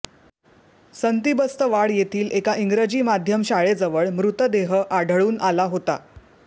संतीबस्तवाड येथील एका इंग्रजी माध्यम शाळेजवळ मृतदेह आढळून आला होता